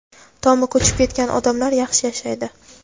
tomi ko‘chib ketgan odamlar yaxshi yashaydi.